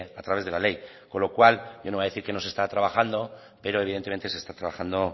a través de la ley con lo cual yo no voy a decir que no está trabajando pero evidentemente se está trabajando